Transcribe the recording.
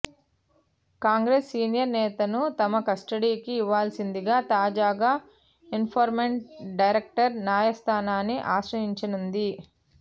Congress senior నేతను తమ కస్టడీకి ఇవ్వాల్సిందిగా తాజాగా ఎన్ఫోర్స్మెంట్ డైరెక్టరేట్ న్యాయస్థానాన్ని ఆశ్రయించనుంది